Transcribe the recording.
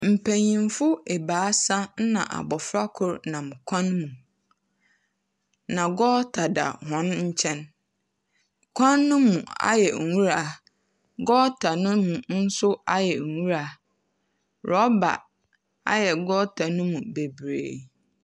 Mpanyimfo ebiasa na abofra kor nam kwan mu, na gɔɔta da hɔn nkyɛn, kwan no mu ayɛ nwura. Gɔɔta no mu nso ayɛ nwura, na rɔba ayɛ gɔɔta no mu bebree.